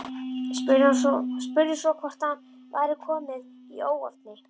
Spurði svo hvort allt væri komið í óefni.